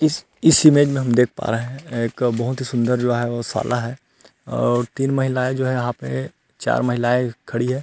इस इस इमेज में हम देख पा रहै है एक बहुत ही सुन्दर जो है वो शाला है और तीन महिलाएं जो हैं यहाँ पे चार महिलाएं खड़ी है।